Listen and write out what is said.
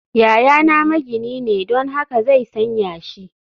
Yayana magini ne, don haka zai san yashi